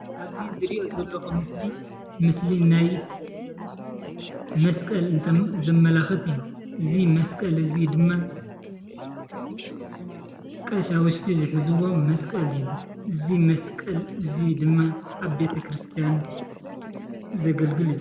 አብዚ ዝሪኦ ዘለኩ ምስሊ ናይ መስቀል ዘመላክት እዩ፡፡ እዚ መስቀል እዚ ድማ ቀሻውሽቲ ዝሕዝዎ መስቀል እዩ፡፡ እዚ መስቀል እዚ ድማ አብ ቤተ ክርስትያን ዘገልግል እዩ፡፡